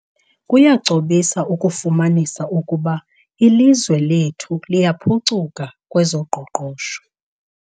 Kuyagcobisa ukufumanisa ukuba ilizwe lethu liyaphucuka kwezoqoqosho.